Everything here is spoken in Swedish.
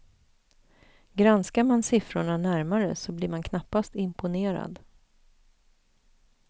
Granskar man siffrorna närmare så blir man knappast imponerad.